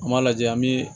An m'a lajɛ an bi